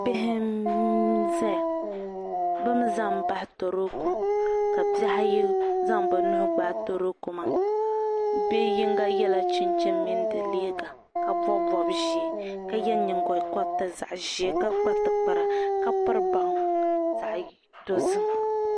Bihi n-zaya be mii zami baɣi toroko ka bihi ayi zaŋ be nuu gbaai toroko maa bi'yiŋga yela chinchini mini di liiga ka bɔbi bɔb'ʒee ka ye nyingo koliti zaɣ'ʒee ka kpa tikpara ka piri baŋa zaɣ'dozim.